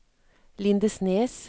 Lindesnes